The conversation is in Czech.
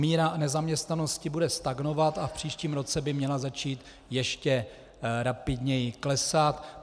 Míra nezaměstnanosti bude stagnovat a v příštím roce by měla začít ještě rapidněji klesat.